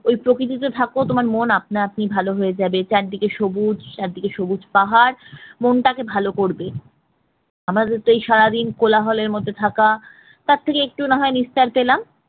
ওই প্রকৃতিতে থাকো তোমার মন আপনা আপনি ভালো হয়ে যাবে চারদিকে সবুজ চারদিকে সবুজ পাহাড় মনটাকে ভালো করবে, আমাদের তো এই সারা দিন কোলাহলের মধ্যে থাকা তার থেকে একটু না হয় নিস্তার পেলাম